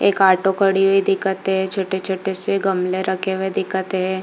एक ऑटो खड़ी हुई दिखत हे छोटे-छोटे से गमले रखे हुए दिखत हे।